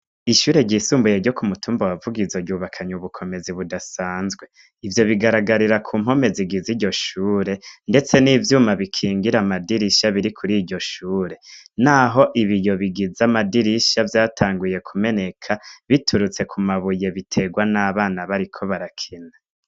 Ishure ryisumbuye ryo kumutumba wavugizo ryubakanye ubukomezi budasanzwe. Ivyo bigaragarira kumpome zigize iryoshure ndetse n'ivyuma bikingira amadirisha biri kur'uryioshure. Naho ibiyo bigize amadirisha vyatanguye kumeneka biturutse kumabuye biterwa n'abana bari hanze.